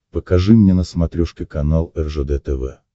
покажи мне на смотрешке канал ржд тв